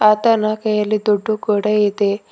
ಆತನ ಕೈಯಲ್ಲಿ ದುಡ್ಡು ಕೂಡ ಇದೆ.